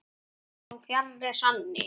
Það var þó fjarri sanni.